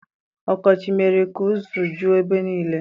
Ọkọchị mere ka uzu juo ebe niile.